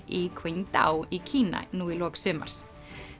í Qingdao í Kína nú í lok sumars